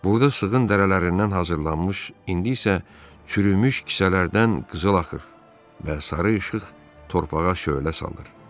Buğda sığın dərilərindən hazırlanmış, indi isə çürümüş kisələrdən qızıl axır və sarı işıq torpağa şölə salır.